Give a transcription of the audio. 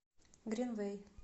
гринвэй